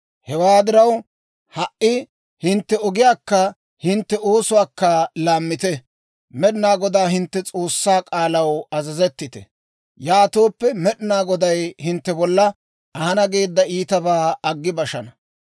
Hewaa diraw, ha"i hintte ogiyaakka hintte oosuwaakka laammite; Med'inaa Godaa hintte S'oossaa k'aalaw azazettite. Yaatooppe, Med'inaa Goday hintte bolla ahana geedda iitabaa aggi bashana.